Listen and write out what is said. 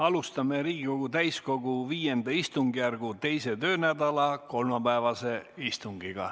Alustame Riigikogu täiskogu V istungjärgu 2. töönädala kolmapäevast istungit.